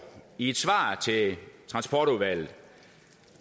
i et svar til transportudvalget